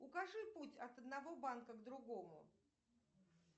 укажи путь от одного банка к другому